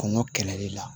Kɔngɔ kɛlɛli la